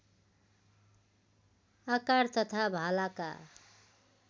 आकार तथा भालाका